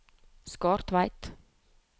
Skartveit